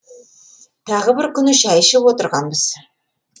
тағы бір күні шәй ішіп отырғанбыз